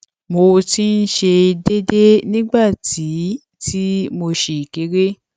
mo ti ń ṣe é déédéé nígbà tí tí mo ṣì kéré